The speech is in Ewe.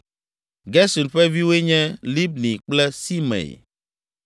Gerson ƒe viwoe nye: Libni kple Simei.